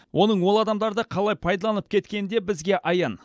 оның ол адамдарды қалай пайдаланып кеткені де бізге аян